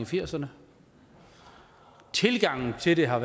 firserne tilgangen til det har